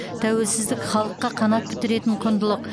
тәуелсіздік халыққа қанат бітіретін құндылық